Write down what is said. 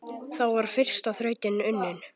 Þá var fyrsta þrautin unnin.